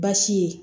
Baasi ye